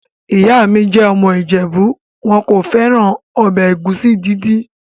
Ìyá mi jẹ́ ọmọ ìjẹ̀bú. Wọn kò fẹ́ràn ọbẹ̀ ẹ̀gúsí dídì.